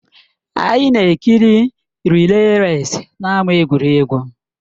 Anyị na-ekiri rịlè resị n'ámá egwuregwu